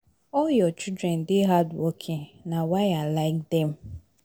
All your children dey hardworking na why I like dem